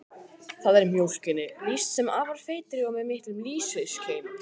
Þar er mjólkinni lýst sem afar feitri og með miklum lýsiskeim.